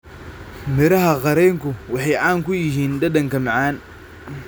Midhaha qareenku waxay caan ku yihiin dhadhanka macaan.